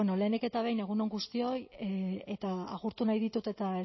lehenik eta behin egun on guztioi eta agurtu nahi ditut eta